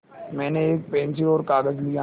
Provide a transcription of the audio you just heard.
मैंने एक पेन्सिल और कागज़ लिया